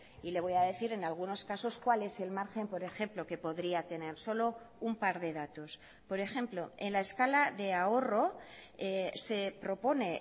y le voy a decir en algunos casos cuál es el margen por ejemplo que podría tener solo un par de datos por ejemplo en la escala de ahorro se propone